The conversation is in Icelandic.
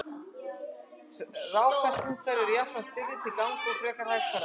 rákaskunkar eru jafnframt stirðir til gangs og frekar hægfara